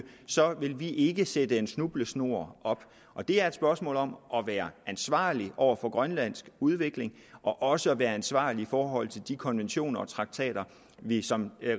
så vil vi ikke sætte en snubletråd op det er et spørgsmål om at være ansvarlig over for grønlands udvikling og også at være ansvarlig i forhold til de konventioner og traktater vi som